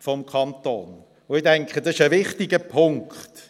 Ich denke, das ist ein wichtiger Punkt.